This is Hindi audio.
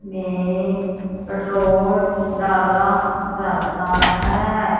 में पेट्रोल डाला जाता है।